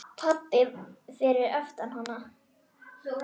Pabbi fyrir aftan hana: